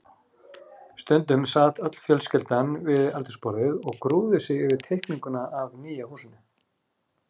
Stundum sat öll fjölskyldan við eldhúsborðið og grúfði sig yfir teikninguna af nýja húsinu.